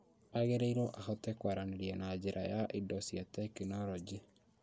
Agĩrĩirwo ahote kwaranĩria na njĩra ya indo cia tekinoronjĩ